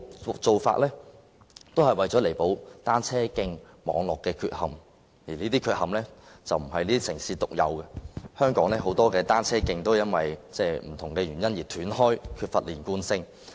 這些做法彌補了單車徑網絡的缺憾，這些缺憾不是這些城市獨有的，香港有很多單車徑因為不同原因而斷開，缺乏連貫性。